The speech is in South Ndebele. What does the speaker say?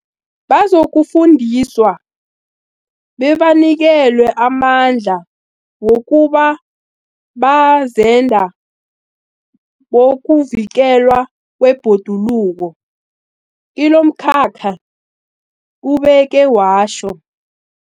Bazokufundiswa bebanikelwe amandla wokuba bazenda bokuvikelwa kwebhoduluko kilomkhakha, ubeke watjho.